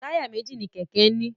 Táyà méjì ni kẹ̀kẹ́ ń ní.